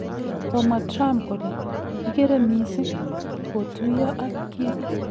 Komwaa Trump kole 'kikere missing ' kotuyo ak Kim